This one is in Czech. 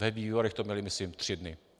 Ve výborech to měli, myslím, tři dny.